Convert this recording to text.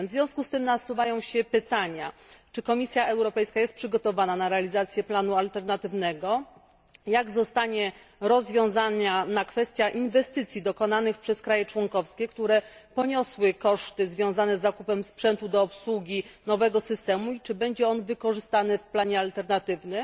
W związku z tym nasuwają się pytania czy Komisja Europejska jest przygotowana na realizację planu alternatywnego, jak zostanie rozwiązana kwestia inwestycji dokonanych przez kraje członkowskie, które poniosły koszty związane z zakupem sprzętu do obsługi nowego systemu i czy będzie on wykorzystany w planie alternatywnym,